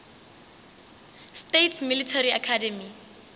states military academy